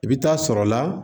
I bɛ taa sɔrɔ la